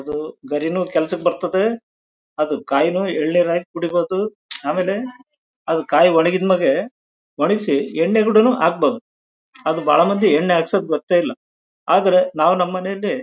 ಇದು ಗರಿನು ಕೆಲ್ಸಕ್ಕೆ ಬರ್ತದೆ ಅದು ಕಾಯಿನು ಏಳ್ನೀರು ಹಾಕ್ ಕುಡಿಬೇಕು ಆಮೇಲೆ ಅವು ಕಾಯಿ ಒಣಗಿದ್ ಮೇಲೆ ಒಣಗಿಸಿ ಎಣ್ಣೆ ಆದ್ರೆ ಬಹಳ ಮಂದಿ ಎಣ್ಣೆ ಹಾಕ್ಸೋದ್ ಗೊತ್ತೇ ಇಲ್ಲಾ ಆದ್ರೆ ನಾವು ನಮ್ ಮೆನೇಲಿ--